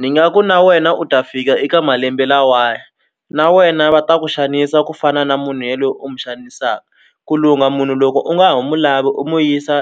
Ni nga ku na wena u ta fika eka malembe lawaya na wena va ta ku xanisa ku fana na munhu ye lo u n'wi xanisaka ku lunga munhu loko u nga ha mu lavi u mu yisa